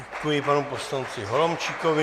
Děkuji panu poslanci Holomčíkovi.